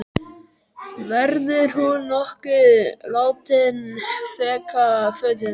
Verður hún nokkuð látin fækka fötum?